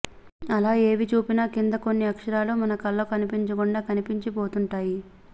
అలా ఏవి చూపినా కింద చిన్న అక్షరాలు మన కళ్ళకు కనిపించకుండా కనిపించి పోతుంటాయి